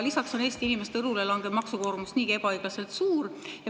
Lisaks on Eesti inimeste õlule langev maksukoormus niigi ebaõiglaselt suur.